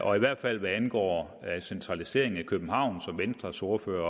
og i hvert fald hvad angår centraliseringen i københavn som venstres ordfører